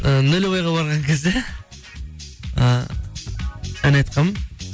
ы нөлевойға барған кезде і ән айтқанмын